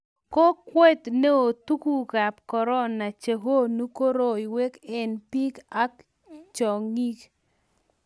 Kokwet neoo tunguikab korona che konu koroiwek eng' biik ak chong'ik